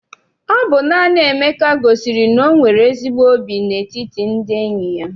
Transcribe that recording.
Ọ bụ naanị Emeka gosiri na o nwere ezigbo óbì n'etiti ndị enyi ya.